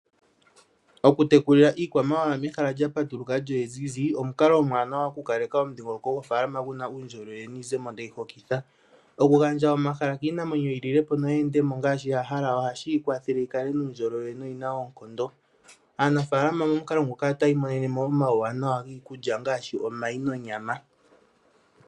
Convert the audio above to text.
Okutekulila iikwamawa mehala lya patuluka lyo olya ziza, omukalo omuwanawa okukaleka omudhingoloko gofaalama gu na uundjolowele niizemo tayi hokitha. Okugandja omahala kiinamwenyo yi lile po noyi kale mo ngaashi ya hala ohashi yi kwathele yi kale nuundjolowele noyi na oonkondo. Aanafaalama momukalo moka otaya imonene mo omauwanawa giikulya ngaashi omayi nonyama.